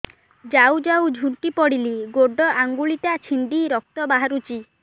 ଯାଉ ଯାଉ ଝୁଣ୍ଟି ପଡ଼ିଲି ଗୋଡ଼ ଆଂଗୁଳିଟା ଛିଣ୍ଡି ରକ୍ତ ବାହାରୁଚି